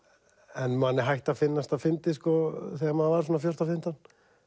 en manni hætti að finnast það fyndið þegar maður var svona fjórtán til fimmtán